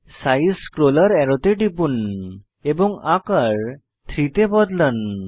size scroller অ্যারোতে টিপুন এবং আকার 30 তে বদলান